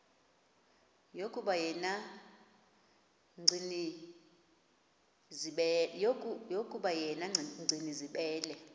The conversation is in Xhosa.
yokuba yena gcinizibele